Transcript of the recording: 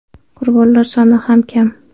Qurbonlar soni ham kam.